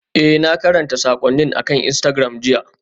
Ee, na karanta saƙonnin akan Instagram jiya.